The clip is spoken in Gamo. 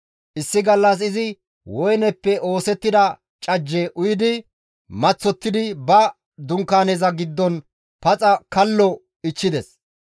Issi gallas izi woyneppe oosettida cajje uyi maththottidi ba Dunkaaneza giddon paxa kallo ichchides.